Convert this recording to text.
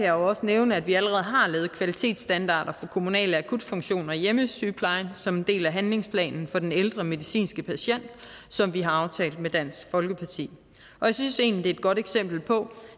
jo også nævne at vi allerede har lavet kvalitetsstandarder for kommunale akutfunktioner i hjemmesygeplejen som en del af handlingsplanen for den ældre medicinske patient som vi har aftalt med dansk folkeparti og jeg synes egentlig et godt eksempel på